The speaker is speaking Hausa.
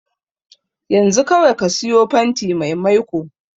Yanzu kawai ka siyo fantin mai maiko.